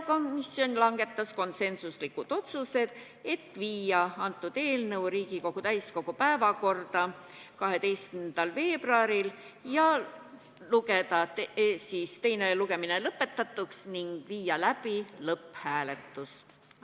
Komisjon langetas konsensuslikud otsused: saata eelnõu Riigikogu täiskogu päevakorda 12. veebruariks, lugeda teine lugemine lõpetatuks ning viia läbi lõpphääletus.